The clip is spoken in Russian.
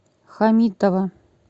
хамитова